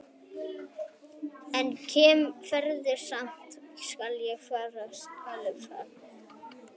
Enn fremur skal velja fósturforeldra sérstaklega út frá hagsmunum og þörfum viðkomandi barns.